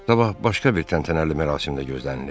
Sabah başqa bir təntənəli mərasim də gözlənilir.